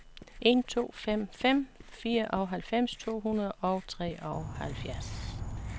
en to fem fem fireoghalvfems to hundrede og treoghalvfjerds